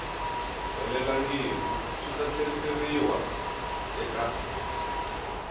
helelangiku swi ta tlheriseriwa eka